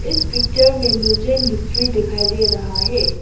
इस पिक्चर में मुझे मिस्त्री दिखाई दे रहा है।